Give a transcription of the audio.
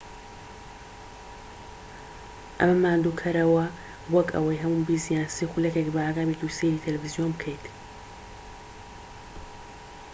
ئەمە ماندووکەرەوە وەک ئەوەی هەموو بیست یان سی خولەکێک بەئاگا بیت و سەیری تەلەفزیۆن بکەیت